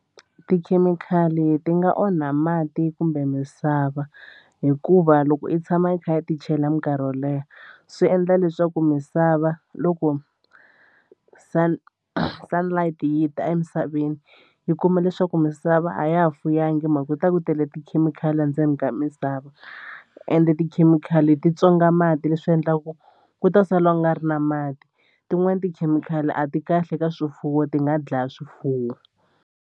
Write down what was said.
Tikhemikhali ti nga onha mati kumbe misava hikuva loko i tshama i kha i ti chela mikarhi yo leha swi endla leswaku misava loko sun sunlight yita emisaveni yi kuma leswaku misava a ya ha fuyanga hi mhaka ku ku ta ku tele tikhemikhali endzeni ka misava ende tikhemikhali ti tswonga mati leswi endlaku ku ta sala u nga ri na mati tin'wani tikhemikhali a ti kahle ka swifuwo ti nga dlaya swifuwo.